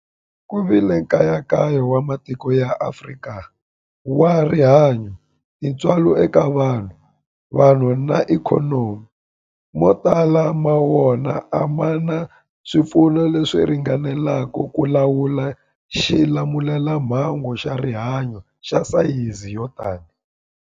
Ku vile nkayakayo wa matiko ya Afrika wa rihanyu, tintswalo eka vanhu, vanhu na ikhonomi, mo tala ma wona a ma na swipfuno leswi ringaneleke ku lawula xilamulelamhangu xa rihanyu xa sayizi yo tani.